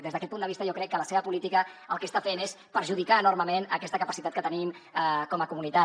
des d’aquest punt de vista jo crec que la seva política el que està fent és perjudicar enormement aquesta capacitat que tenim com a comunitat